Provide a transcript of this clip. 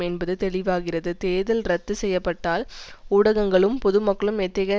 என்பது தெளிவாகிறது தேர்தல் இரத்து செய்ய பட்டால் ஊடகங்களும் பொது மக்களும் எத்தகைய